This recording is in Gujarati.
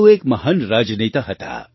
તેઓ એક મહાન રાજનેતા હતા